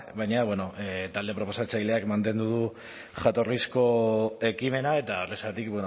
baina bueno talde proposatzaileak mantendu du jatorrizko ekimena eta horrexegatik